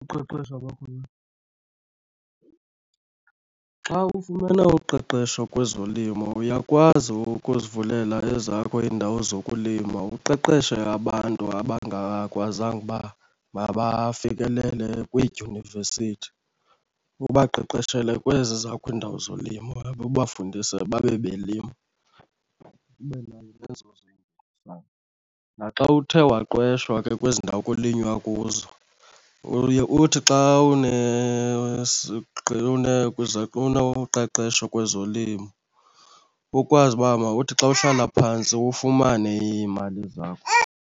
Uqeqesho kwakhona, xa ufumane uqeqesho kwezolimo uyakwazi ukuzivulela ezakho iindawo zokulima uqeqeshe abantu abangakwazanga uba mabafikelele kwiidyunivesithi. Ubaqeqeshele kwezi zakho iindawo zolimo or ubafundise babe belima. Ube nayo nezo zabo. Naxa uthe waqeshwa ke kwezi ndawo kulinywa kuzo uye uthi xa unoqeqesho kwezolimo ukwazi uba mawuthi xa uhlala phantsi ufumane iimali zakho.